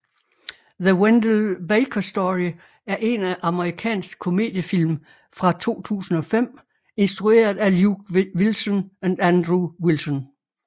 The Wendell Baker Story er en amerikansk komediefilm fra 2005 instrueret af Luke Wilson og Andrew Wilson